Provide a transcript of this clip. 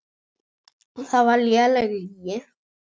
Það var léleg lygi.